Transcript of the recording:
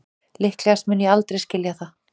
Líklegast mun ég aldrei skilja það